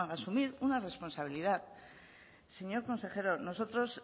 asumir una responsabilidad señor consejero nosotros